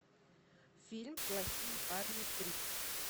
фильм плохие парни три